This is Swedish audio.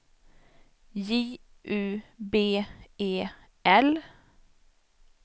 J U B E L